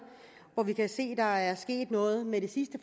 hvor vi kan se at der er sket noget med det sidste